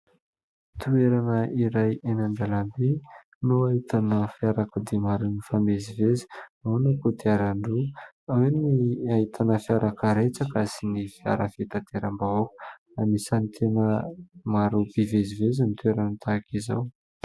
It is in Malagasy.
Toerana iray eny an-dalambe no ahitana fiarakodia maro mifamezivezy. Ao ny kodiaran-droa, ao ny ahitana fiara-karetsaka sy ny fiara fitanteram-bahoaka. Anisan'ny tena maro mpivezivezy ny toerana tahaka izao.